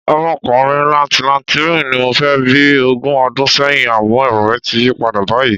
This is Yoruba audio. Ọmọkùnrin làǹtìlanti mẹ́rin ni mo fẹ́ bí bí ogún ọdún sẹ́yìn, àmọ́ èrò mi ti yí padà báyìí.